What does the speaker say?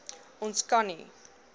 ons kan nie